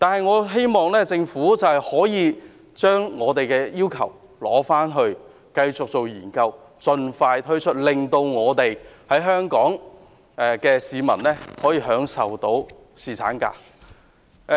我希望政府會繼續研究我們的建議，然後盡快推行，令香港市民可以享有更多侍產假。